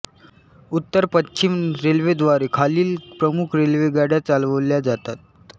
उत्तर पश्चिम रेल्वेद्वारे खालील प्रमुख रेल्वेगाड्या चालवल्या जातात